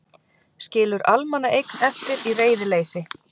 Skilur almannaeign eftir í reiðileysi.